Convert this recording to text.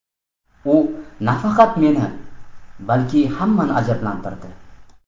U nafaqat meni, balki hammani ajablantirdi.